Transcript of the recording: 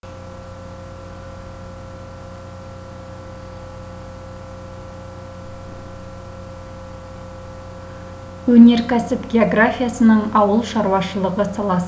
өнеркәсіп географиясының ауыл шаруашылығы саласы